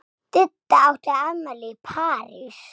Didda átti afmæli í París.